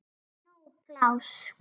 Það er nóg pláss.